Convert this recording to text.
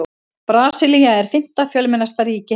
Brasilía er fimmta fjölmennasta ríki heims.